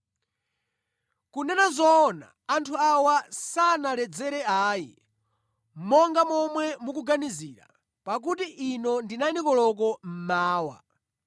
Kunena zoona, anthu awa sanaledzere ayi, monga momwe mukuganizira, pakuti ino ndi 9 koloko mmawa!